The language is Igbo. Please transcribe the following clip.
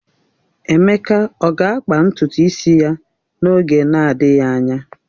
Emeka ọ ga-akpa ntutu isi ya n'oge na-adịghị anya?